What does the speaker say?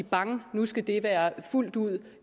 bang nu skal det være fuldt ud